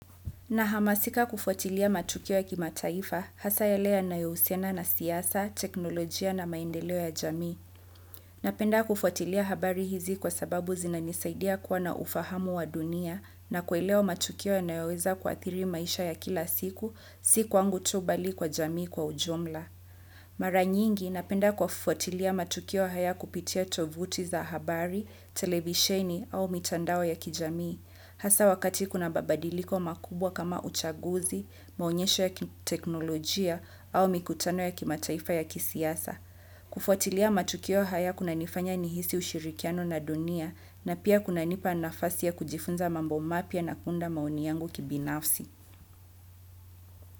Nahamasika kufuatilia matukio ya kimataifa hasa yale yanayohusiana na siyasa, teknolojia na maendeleo ya jamii. Napenda kufuatilia habari hizi kwa sababu zina nisaidia kuwa na ufahamu wa dunia na kuelewa matukio yanayoweza kuadhiri maisha ya kila siku, si kwangu tu bali kwa jamii kwa ujumla. Mara nyingi napenda kufuatilia matukio haya kupitia tovuti za habari, televisheni au mitandao ya kijamii. Hasa wakati kuna mabadiliko makubwa kama uchaguzi, maonyesho ya teknolojia au mikutano ya kimataifa ya kisiasa. Kufuatilia matukio haya kunanifanya nihisi ushirikiano na dunia na pia kunanipa nafasi ya kujifunza mambo mapya na kuunda maoni yangu kibinafsi.